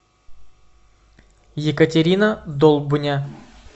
екатерина долбня